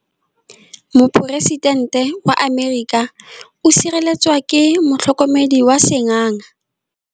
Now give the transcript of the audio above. Poresitêntê wa Amerika o sireletswa ke motlhokomedi wa sengaga.